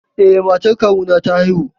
Eh, matar kawuna ta haihu.